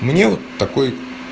мне вот такой